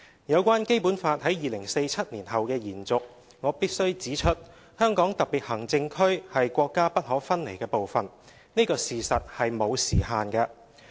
有關《基本法》在2047年後的延續，我必須指出，香港特別行政區是國家不可分離的部分，這個事實是沒有時限的。